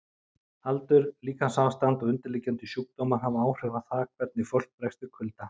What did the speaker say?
Aldur, líkamsástand og undirliggjandi sjúkdómar hafa áhrif á það hvernig fólk bregst við kulda.